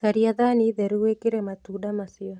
Caria thaani theru wĩkĩre matunda macio